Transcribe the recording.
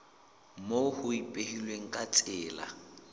moo ho ipehilweng ka tsela